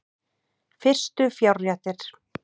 Fyrstu fjárréttir